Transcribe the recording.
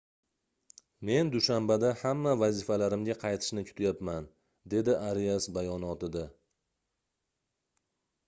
men dushanbada hamma vazifalarimga qaytishni kutyapman - dedi arias bayonotida